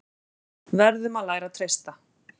Verðum að læra að treysta